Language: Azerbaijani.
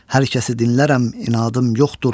Hər kəsi dinlərəm, inadım yoxdur.